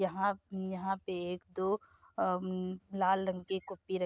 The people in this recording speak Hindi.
यहाँ यहाँ पे एक दो लाल रंग की रखी --